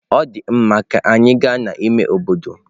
Ọ dị mma, ka anyị gaa n'ime obodo.